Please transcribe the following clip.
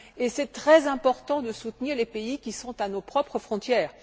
Il est très important aussi de soutenir les pays qui sont à nos propres frontières.